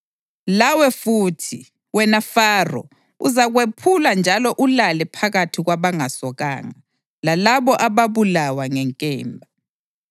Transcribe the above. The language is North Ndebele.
Lawe futhi, wena Faro, uzakwephulwa njalo ulale phakathi kwabangasokanga, lalabo ababulawa ngenkemba.